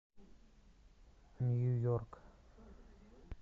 нью йорк